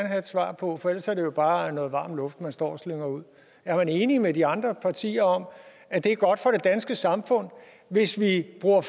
have et svar på for ellers er det jo bare noget varm luft man står og slynger ud er man enig med de andre partier om at det er godt for det danske samfund hvis vi bruger